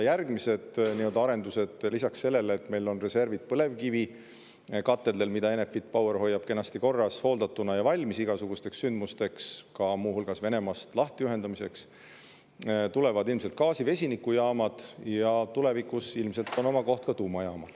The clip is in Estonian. Järgmised arendused lisaks sellele, et meil on reservid põlevkivikatelde näol, mida Enefit Power hoiab kenasti korras, hooldatuna ja valmis igasugusteks sündmusteks, muu hulgas Venemaast lahti ühendamiseks, on ilmselt gaasi- ja vesinikujaamad ning tulevikus ilmselt on oma koht ka tuumajaamal.